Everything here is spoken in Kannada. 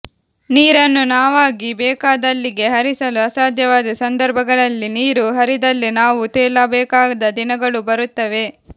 ನೀರನ್ನು ನಾವಾಗಿ ಬೇಕಾದಲ್ಲಿಗೆ ಹರಿಸಲು ಅಸಾಧ್ಯವಾದ ಸಂದರ್ಭಗಳಲ್ಲಿ ನೀರು ಹರಿದಲ್ಲೇ ನಾವೂ ತೇಲಬೇಕಾದ ದಿನಗಳೂ ಬರುತ್ತವೆ